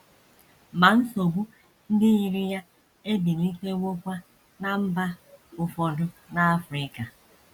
Ma nsogbu ndị yiri ya ebilitewokwa ná mba ụfọdụ n’Africa.